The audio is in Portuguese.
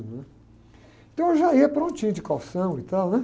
Então, eu já ia prontinho, de calção e tal, né?